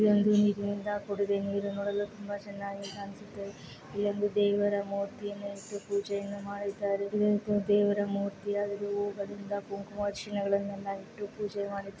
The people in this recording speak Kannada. ಇದೊಂದು ನೀರಿನಿಂದ ಕೂಡಿದೆ ತುಂಬ ಚೆನ್ನಾಗಿ ಕಾಣಿಸುತ್ತಿದೆ ಇಲ್ಲೊಂದು ದೇವರ ಮುರ್ತಿಯನ್ನು ಇಟ್ಟು ಪೂಜೆಯನ್ನು ಮಾಡಿದ್ದಾರೆ ದೇವರ ಮೂರ್ತಿ ಕುಂಕುಮ ಅರ್ಚನೆಗಳನೆಲ್ಲ ಇಟ್ಟು ಪೂಜೆ ಮಾಡಿಸು --